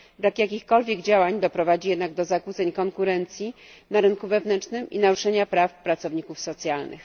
Brak jakichkolwiek działań doprowadzi jednak do zakłóceń konkurencji na rynku wewnętrznym i do naruszenia praw pracowników socjalnych.